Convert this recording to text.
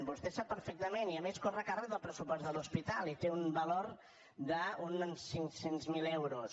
vostè ho sap perfectament i a més corre a càrrec del pressupost de l’hospital i té un valor d’uns cinc cents miler euros